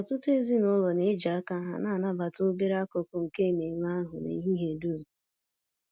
Ọtụtụ ezinụlọ na-eji aka ha na-anabata obere akụkụ nke ememe ahụ n'ehihie dum